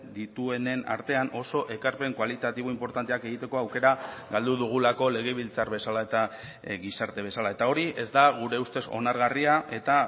dituenen artean oso ekarpen kualitatibo inportanteak egiteko aukera galdu dugulako legebiltzar bezala eta gizarte bezala eta hori ez da gure ustez onargarria eta